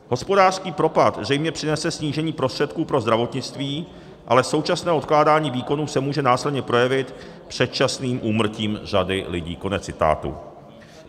Hospodářský propad zřejmě přinese snížení prostředků pro zdravotnictví, ale současné odkládání výkonů se může následně projevit předčasným úmrtím řady lidí."